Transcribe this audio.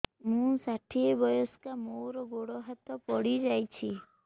ମୁଁ ଷାଠିଏ ବୟସ୍କା ମୋର ଗୋଡ ହାତ ପଡିଯାଇଛି